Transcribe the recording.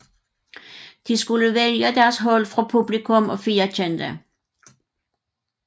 De skulle vælge deres hold fra publikum og 4 kendte